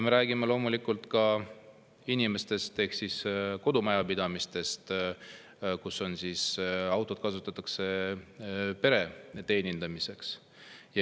Me räägime ka inimestest ehk kodumajapidamistest, kus autot kasutatakse pere.